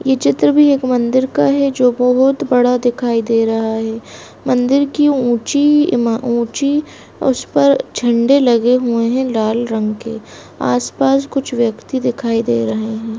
ये चित्र भी एक मंदिर का है जो बहोत बड़ा दिखाई दे रहा है मंदिर की ऊंची ईमा ऊंची उस पर झंडे लगे हुए हैं लाल रंग के आस-पास कुछ व्यक्ति दिखाई दे रहे हैं।